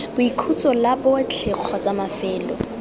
boikhutso la botlhe kgotsa mafelo